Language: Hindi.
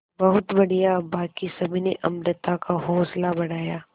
बहुत बढ़िया बाकी सभी ने अमृता का हौसला बढ़ाया